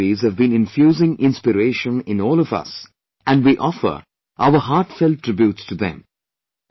These luminaries have been infusing inspiration in all of us and we offer our heartfelt tributes to them